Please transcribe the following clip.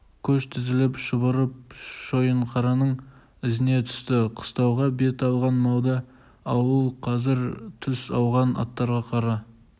көш тізіліп шұбырып шойынқараның ізіне түсті қыстауға бет алған малды ауыл қазір түс ауған аттарын қара